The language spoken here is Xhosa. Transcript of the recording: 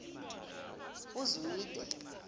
uzwide